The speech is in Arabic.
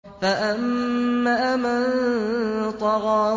فَأَمَّا مَن طَغَىٰ